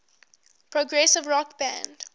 progressive rock band